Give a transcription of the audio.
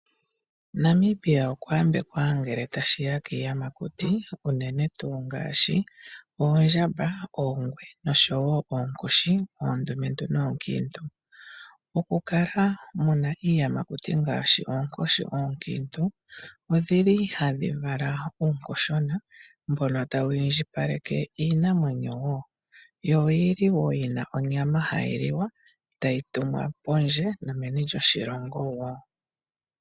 Namibia okwa yambekwa ngele tashi ya kiiyamakuti, unene tuu ngaashi oondjamba, oongwe noshowo oonkoshi oondumentu noonkiintu. Okukala muna iiyamakuti ngaashi oonkoshi oonkiintu odhili tadhi vala uunkoshona mbono tawu indjipaleke iinamwenyo wo. Yo oyili wo yina onyama hayi liwa, tayi tumwa pondje nomeni loshilongo wo.